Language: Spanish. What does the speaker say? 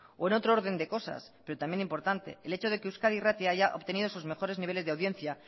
o en otro orden de cosas pero también importante el hecho de que euskadi irratia haya obtenido sus mejores niveles de audiencia